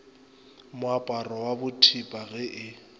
moaparo wa bothepa ge e